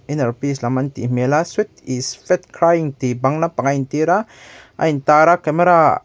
inner peace an tih hmel a sweat is fat crying tih bang lampangah a intir a a intar a camera --